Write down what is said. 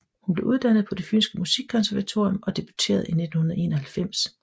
Hun blev uddannet på Det Fynske Musikkonservatorium og debuterede i 1991